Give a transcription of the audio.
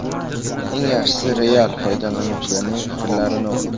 Eng yaxshisi real foydalanuvchilarning fikrlarini o‘qing.